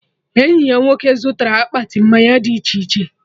Enyi ya nwoke zụtara akpati mmanya dị iche iche